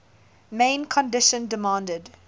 main condition demanded